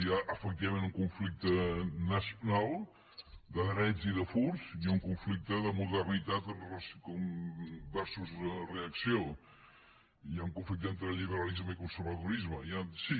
hi ha efectivament un conflicte nacional de drets i de furs i un conflicte de modernitat versusun conflicte entre liberalisme i conservadorisme sí